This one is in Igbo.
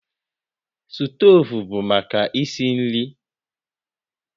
Stovu bụ maka isi nri